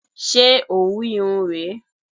Ṣé òwu Irun rè é?